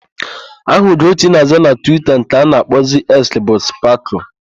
Aha Ugochi na-aza na Twita nke a na-akpọzi Eks bu Spakụl.